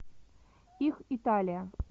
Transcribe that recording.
их италия